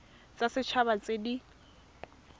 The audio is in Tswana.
tsa set haba tse di